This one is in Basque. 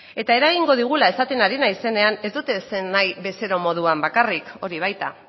eta eragingo digula esaten ari naizenean ez dut esan nahi bezero moduan bakarrik hori baita